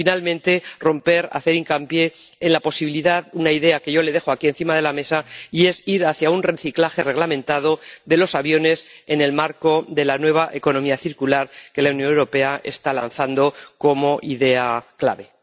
Y, finalmente, romper una lanza, hacer hincapié en la posibilidad de una idea que yo le dejo aquí encima de la mesa, que es ir hacia un reciclaje reglamentado de los aviones en el marco de la nueva economía circular que la Unión Europea está lanzando como idea clave.